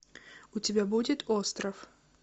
у тебя будет остров